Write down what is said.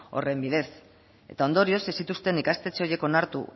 horren bidez eta ondorioz ez zituzten ikastetxe horiek onartu